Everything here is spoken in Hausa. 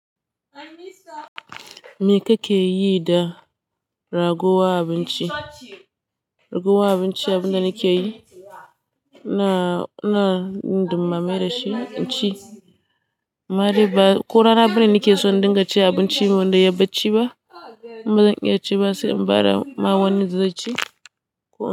Me kake yi da rago wa abinci? Rago wa abinci abin da nike yi, na, na nima mai dashi, ci. Amma dai ba ko rana birni nake so dinga ci abinci wanda yabbaci ba. Ba zan iya ci ba sai in bada ma wanin zai ci.